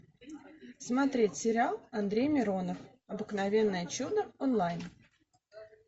смотреть сериал андрей миронов обыкновенное чудо онлайн